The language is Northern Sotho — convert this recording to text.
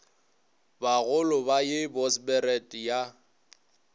bagolo ba ye bosberad ya